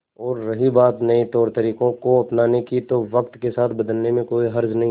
और रही बात नए तौरतरीकों को अपनाने की तो वक्त के साथ बदलने में कोई हर्ज नहीं